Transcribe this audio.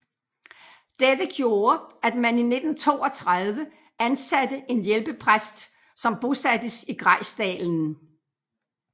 Det gjorde at man i 1932 ansatte en hjælpepræst som bosattes i Grejsdalen